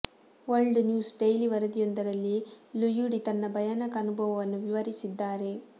world news daily ವರದಿಯೊಂದರಲ್ಲಿ ಲುಯುಡಿ ತನ್ನ ಭಯಾನಕ ಅನುಭವವನ್ನು ವಿವರಿಸಿದ್ದಾರೆ